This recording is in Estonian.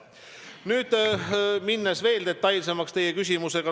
Nüüd lähen teie küsimusele vastates veel detailsemaks.